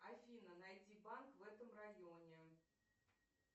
афина найди банк в этом районе